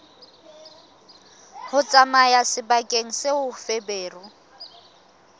ho tsamaya sebakeng seo feberu